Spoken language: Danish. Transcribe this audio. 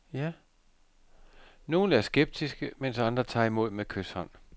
Nogle er skeptiske, mens andre tager imod med kyshånd.